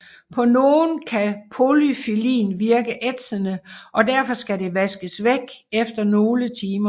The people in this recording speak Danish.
På nogen kan podofyllin virke ætsende og derfor skal det vaskes væk efter nogle timer